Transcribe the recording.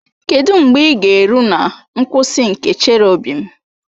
Kedụ mgbe ị ga-eru na nkwụsị nke Cherọbịm?